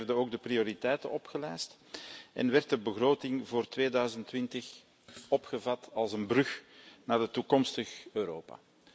Daarin werden ook de prioriteiten opgelijst en werd de begroting voor 2020 opgevat als een brug naar het toekomstig Europa.